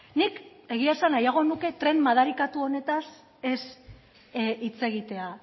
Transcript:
nik egia esan nahiago nuke tren madarikatu honetaz ez hitz egitea